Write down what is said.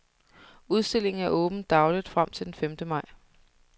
Udstillingen er åben dagligt frem til den femte maj.